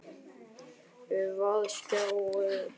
Vaðmálsjakki og olíubornar strigabuxur rakar af súld og svita.